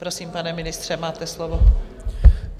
Prosím, pane ministře, máte slovo.